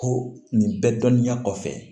Ko nin bɛɛ dɔnniya kɔfɛ